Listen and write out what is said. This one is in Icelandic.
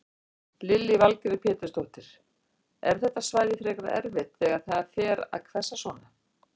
Lillý Valgerður Pétursdóttir: Er þetta svæði frekar erfitt þegar það fer að hvessa svona?